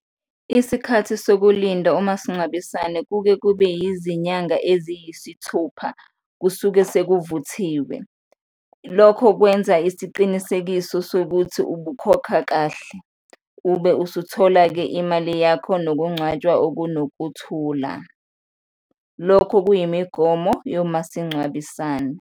Isikhathi sokulinda umasingcwabisane kuke kube izinyanga eziyisithupha, kusuke sekuvuthiwe. Lokho kwenza isiqinisekiso sokuthi ubukhokha kahle, ube usuthola-ke imali yakho nokungcwatshwa okunokuthula, lokho kuyimigomo yomasingcwabisane.